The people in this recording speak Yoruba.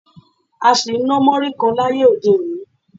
A sì ń ná múrí kan láyé òde-òní